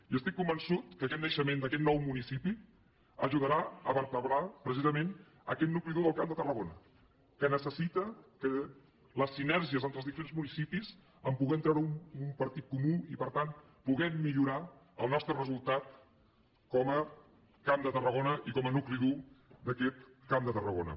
i estic convençut que aquest naixement d’aquest nou municipi ajudarà a vertebrar precisament aquest nucli dur del camp de tarragona que necessita les sinergies entre els diferents municipis per poder treure un partit comú i per tant poder millorar el nostre resultat com a camp de tarragona i com a nucli dur d’aquest camp de tarragona